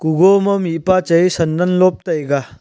Kuwoma mihpah chai eh sandal lob taiga.